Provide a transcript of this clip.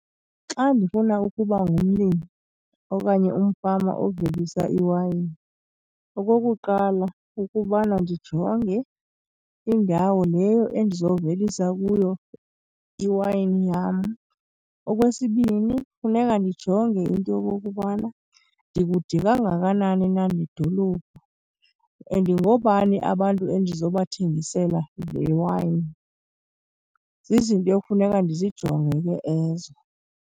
Xa ndifuna ukuba ngumlimi okanye umfama ovelisa iwayini, okokuqala, kukubana ndijonge indawo leyo endizovelisa kuyo iwayini yam. Okwesibini, funeka ndijonge into yokokubana ndikude kangakanani na nedolophu and ngoobani abantu endizobathengisela le iwayini. Zizinto ekufuneka ndijonge ke ezo.